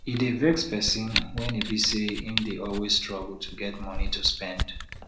e dey vex person when e be say im dey always struggle to get monie to spend